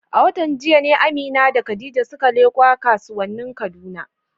A watan jiya ne Amina da Khadija suka leƙo kasuwannin Kaduna.